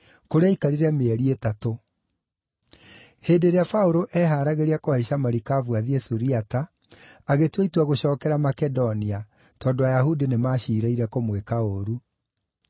kũrĩa aaikarire mĩeri ĩtatũ. Hĩndĩ ĩrĩa Paũlũ eeharagĩria kũhaica marikabu athiĩ Suriata, agĩtua itua gũcookera Makedonia, tondũ Ayahudi nĩmaciirĩire kũmwĩka ũũru.